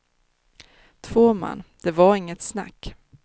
Två man, det var inget snack.